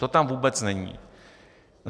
To tam vůbec není.